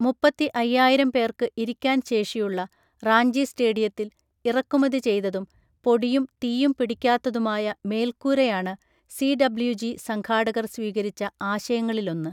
മുപ്പത്തി അയ്യായിരം പേർക്ക് ഇരിക്കാൻ ശേഷിയുള്ള, റാഞ്ചി സ്റ്റേഡിയത്തിൽ, ഇറക്കുമതി ചെയ്തതും, പൊടിയും തീയും പിടിക്കാത്തതുമായ മേൽക്കൂരയാണ് സിഡബ്ള്യുജി സംഘാടകർ സ്വീകരിച്ച ആശയങ്ങളിലൊന്ന്.